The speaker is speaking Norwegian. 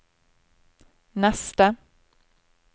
neste